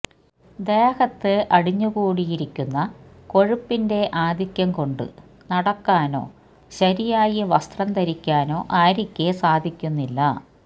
ദേഹത്ത് അടിഞ്ഞു കൂടിയിരിക്കുന്ന കൊഴുപ്പിന്റെ ആധിക്യം കൊണ്ട് നടക്കാനോ ശരിയായി വസ്ത്രം ധരിക്കാനോ ആര്യക്ക് സാധിക്കുന്നില്ല